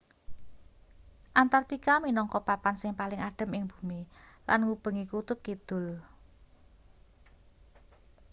antartika minangka papan sing paling adhem ing bumi lan ngubengi kutub kidul